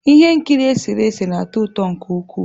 Ihe nkiri eserese na-atọ ụtọ nke ukwuu.